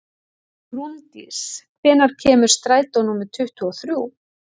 Rúndís, hvenær kemur strætó númer tuttugu og þrjú?